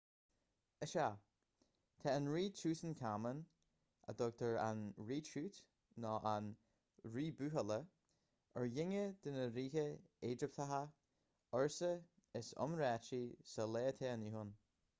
is ea tá an rí tútancáman a dtugtar an rí tút nó an rí buachalla ar dhuine de na ríthe éigipteacha ársa is iomráití sa lá atá inniu ann